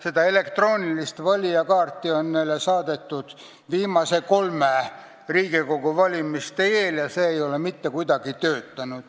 Seda elektroonilist valijakaarti on neile saadetud viimase kolme Riigikogu valimise eel ja see ei ole kuidagi töötanud.